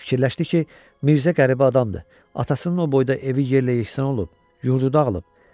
Fikirləşdi ki, Mirzə qəribə adamdır, atasının o boyda evi yerlə yeksən olub, yurdu dağılıb.